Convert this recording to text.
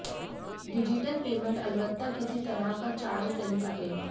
digital payment में अलवत्ता किसी तरह का चार्ज नहीं कटेगा